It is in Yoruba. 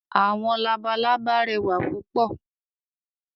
“Àwọn labalábá"rẹwà púpọ̀.